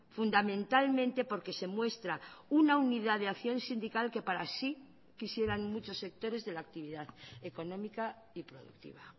fundamentalmente porque se muestra una unidad de acción sindical que para sí quisieran muchos sectores de la actividad económica y productiva